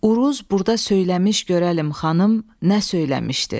Uruz burda söyləmiş görəlim xanım, nə söyləmişdir.